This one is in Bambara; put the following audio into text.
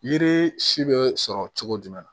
Yiri si bɛ sɔrɔ cogo jumɛn na